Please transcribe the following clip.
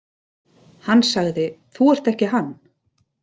Hann sagði: Þú ert ekki Hann.